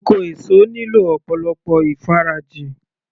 Oko èso nílò ọ̀pọ̀lọpọ̀ ìfarajìn